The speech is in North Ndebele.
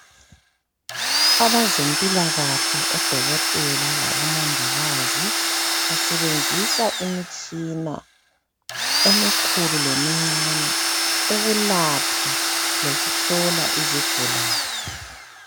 Abezempilakahle odokotela labomongikazi basebenzise imitshina emikhulu lemincane ukulapha lokuhlola izigulane